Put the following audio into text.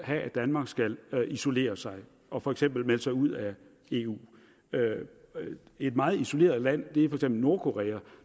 at danmark skal isolere sig og for eksempel melde sig ud af eu et meget isoleret land er for eksempel nordkorea og